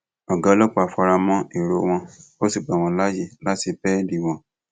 ọgá ọlọpàá fara mọ èrò wọn ó sì gbà wọn láàyè láti bẹẹlí wọn